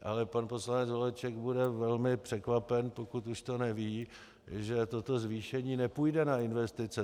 Ale pan poslanec Holeček bude velmi překvapen, pokud už to neví, že toto zvýšení nepůjde na investice.